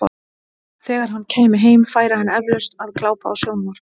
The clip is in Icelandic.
Þegar hann kæmi heim, færi hann eflaust að glápa á sjónvarp.